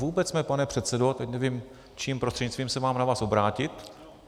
Vůbec jsme, pane předsedo - teď nevím, čím prostřednictvím se mám na vás obrátit...